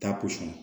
Ta posɔn na